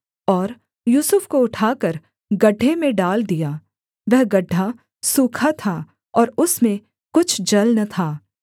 और यूसुफ को उठाकर गड्ढे में डाल दिया वह गड्ढा सूखा था और उसमें कुछ जल न था